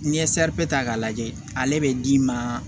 N'i ye ta k'a lajɛ ale bɛ d'i ma